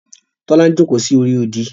Tola ń joko sí orí odi.